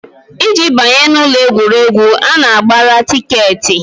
Iji banye n'ụlọ egwuregwu, a na-agbara tikeetị